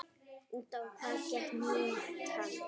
Út á hvað gekk mýtan?